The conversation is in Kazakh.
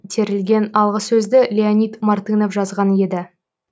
терілген алғысөзді леонид мартынов жазған еді